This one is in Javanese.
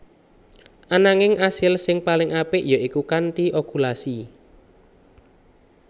Ananging asil sing paling apik ya iku kanthi okulasi